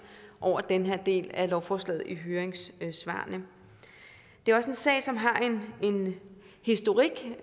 over den her del af lovforslaget i høringssvarene det er også en sag som har en historik